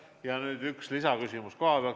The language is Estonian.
Ja nüüd üks lisaküsimus kohapealt.